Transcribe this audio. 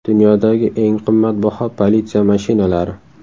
Dunyodagi eng qimmatbaho politsiya mashinalari .